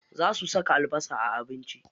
Za su saka albasa a abinci.